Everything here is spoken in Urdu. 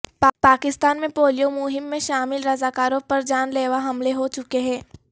پاکستان میں پولیو مہم میں شامل رضاکاروں پر جان لیوا حملے ہو چکے ہیں